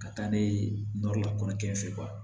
Ka taa n'a ye nɔri la kɔɲɔkɛ